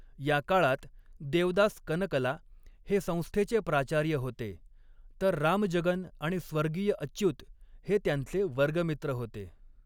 या काळात देवदास कनकला हे संस्थेचे प्राचार्य होते, तर रामजगन आणि स्वर्गीय अच्युत हे त्यांचे वर्गमित्र होते.